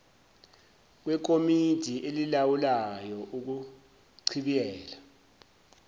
kwekomidi elilawulayo ukuchibiyela